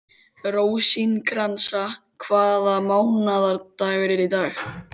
Rósinkransa, hvaða mánaðardagur er í dag?